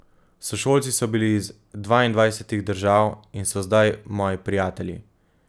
Sošolci so bili iz dvaindvajsetih držav in so zdaj moji prijatelji.